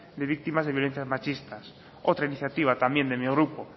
de víctimas de violencias machistas otra iniciativa también de mi grupo